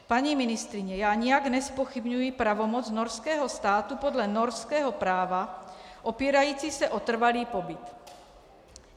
Paní ministryně, já nijak nezpochybňuji pravomoc norského státu podle norského práva, opírající se o trvalý pobyt.